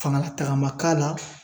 Fanga lataga ma k'a la,